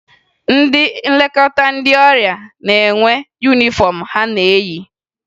Ndị Nlekọta ndị ọrịa na-enwe yunifọmụ ha na-eyi